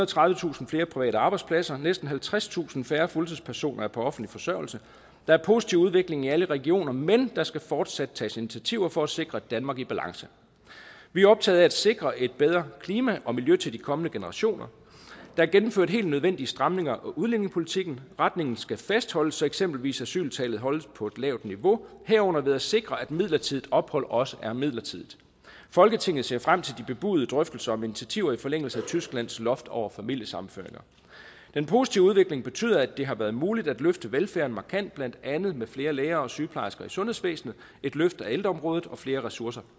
tredivetusind flere private arbejdspladser næsten halvtredstusind færre fuldtidspersoner er på offentlig forsørgelse der er positiv udvikling i alle regioner men der skal fortsat tages initiativer for at sikre et danmark i balance vi er optaget af at sikre et bedre klima og miljø til de kommende generationer der er gennemført helt nødvendige stramninger af udlændingepolitikken retningen skal fastholdes så eksempelvis asyltallet holdes på et lavt niveau herunder ved at sikre at midlertidigt ophold også er midlertidigt folketinget ser frem til de bebudede drøftelser om initiativer i forlængelse af tysklands loft over familiesammenføringer den positive udvikling betyder at det har været muligt at løfte velfærden markant blandt andet med flere læger og sygeplejersker i sundhedsvæsenet et løft af ældreområdet og flere ressourcer